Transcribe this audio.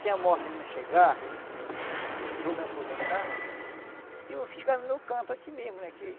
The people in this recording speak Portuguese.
Se a morte não chegar, eu vou me aposentar e vou ficar no meu canto aqui mesmo né que.